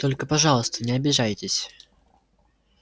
только пожалуйста не обижайтесь